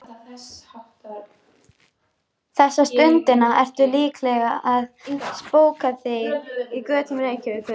Þessa stundina ertu líklega að spóka þig á götum Reykjavíkur.